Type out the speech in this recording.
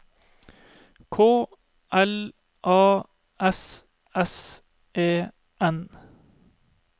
K L A S S E N